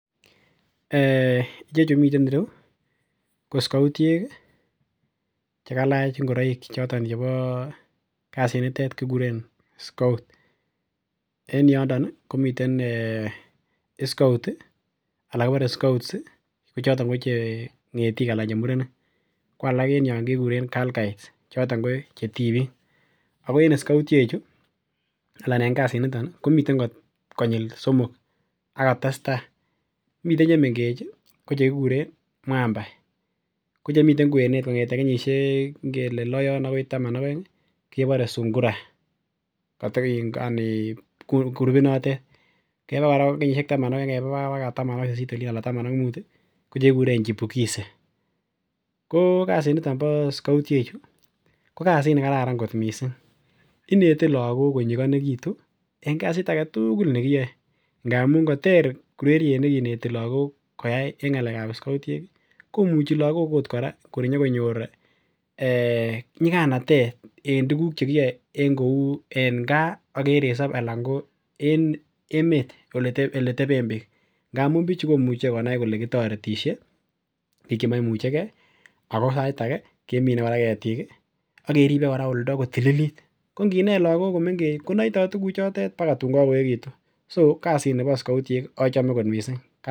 um Ichechu miten ireu ko scoutiek ih chekalach ng'ororik choton chebo kasit nitet kikuren scout en yondon ih komiten scout ih anan kibore scouts ih ko choton ko che ng'etik ana chemurenik ko alak en yon kekuren girl guides choton ko che tibiik ako en scoutiek chu ana en kasit niton ih komiten konyil somok ako testaa miten chemengech ih kochekikuren Mwamba ko chemiten kwenet kong'eten kenyisiek ngele loo akoi taman ak oeng ih kebore Sungura koto yani grupit notet keba kora kenyisiek taman akeba baka kenyisiek taman ak sisisit olin ana taman ak mut ih ko chekikuren Chipukizi. Ko kasit niton bo scoutiek chu ko kasit nekararan kot missing inete lagok konyigonekitun en kasit aketugul nekiyoe amun koter ureriet nekineti lagok koyai en ng'alek ab scoutiek ih komuchi lagok ot kora kobakonyor um nyiganatet en tuguk chekiyoe en kou en gaa ak en resop anan ko emet eleteben biik ngamun bichu komuche konai kole kotoretisye biik chemoimuche gee ako sait age kemine ketik ih akeribe oldo kotililit ko nginet lagok komengech konoitoo tuguk chotet baka tun kakoechekitun so kasit nibon scautiek achome kot missing.